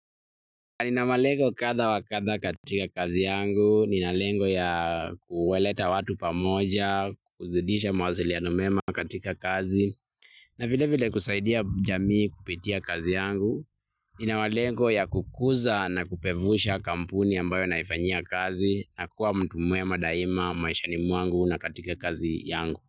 Nina malengo kadha wa kadha katika kazi yangu, nina lengo ya kuwaleta watu pamoja, kuzidisha mawasiliano mema katika kazi na vile vile kusaidia jamii kupitia kazi yangu, nina malengo ya kukuza na kupevusha kampuni ambayo naifanyia kazi, na kuwa mtu mwema, daima maishani mwangu na katika kazi yangu.